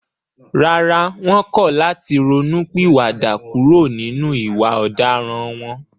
Rárá, wọ́n kọ̀ láti ronú pìwà dà kúrò nínú ìwà ọ̀daràn wọn